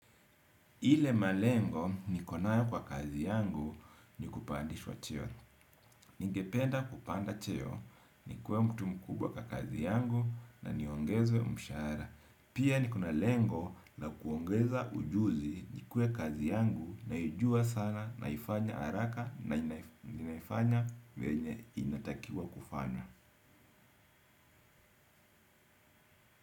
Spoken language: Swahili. Ile malengo niko nayo kwa kazi yangu ni kupandishwa cheo. Ningependa kupanda cheo nikue mtu mkubwa kwa kazi yangu na niongezwe mshahara. Pia niko na lengo la kuongeza ujuzi ikuwe kazi yangu naijua sana naifanya haraka na naifanya venye inatakiwa kufanywa.